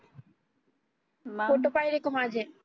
photo पाहिले का माझे